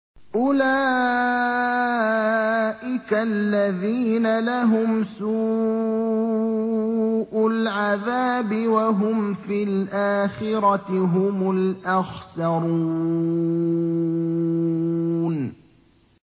أُولَٰئِكَ الَّذِينَ لَهُمْ سُوءُ الْعَذَابِ وَهُمْ فِي الْآخِرَةِ هُمُ الْأَخْسَرُونَ